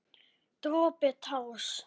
Dropi társ.